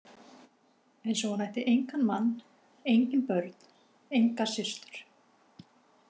Eins og hún ætti engan mann, engin börn, enga systur.